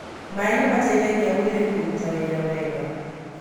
Maaĩ nĩ mateithagia mwĩrĩ kũruta wĩra wega.